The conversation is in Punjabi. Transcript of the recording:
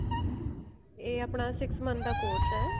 ਇਹ ਆਪਣਾ six month ਦਾ course ਹੈ